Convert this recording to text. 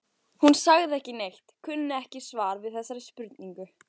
Hún sagði ekki neitt, kunni ekki svar við þessari spurningu.